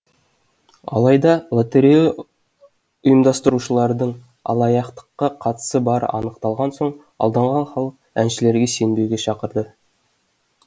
алайда лотерея ұйымдастырушылардың алаяқтыққа қатысы бары анықталған соң алданған халық әншілерге сенбеуге шақырды